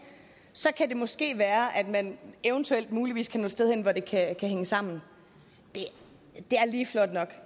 så kan det måske være at man eventuelt muligvis kan nå et sted hen hvor det kan hænge sammen det er lige flot nok